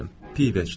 Pivə içdim.